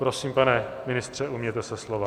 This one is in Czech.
Prosím, pane ministře, ujměte se slova.